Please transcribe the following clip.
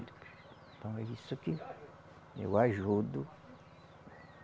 Então é isso que eu ajudo.